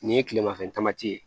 Nin ye kilemafɛ tamati ye